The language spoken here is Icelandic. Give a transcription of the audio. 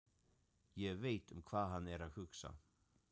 Ég veit um hvað hann er að hugsa.